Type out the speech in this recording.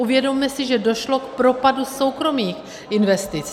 Uvědomme si, že došlo k propadu soukromých investic.